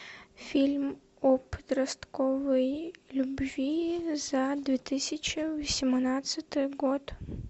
фильм о подростковой любви за две тысячи восемнадцатый год